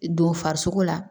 Don farisogo la